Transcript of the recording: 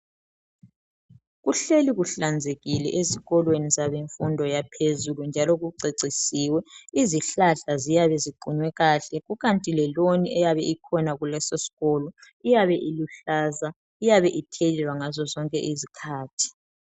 Kuhleli kuhlanzekile esikolweni sabemfundo yaphezulu njalo kucecisiwe izihlahla eziyabe ziqunywe kahle ikanti leloni iyabe Ikhona kuleso sikolo iyabe iluhlaza iyabe ithelelwa ngazo zonke izikhathi.